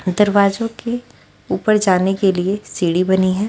दरवाजों के ऊपर जाने के लिए सीढ़ी बनी है।